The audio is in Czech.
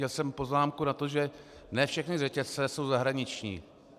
Měl jsem poznámku na to, že ne všechny řetězce jsou zahraniční.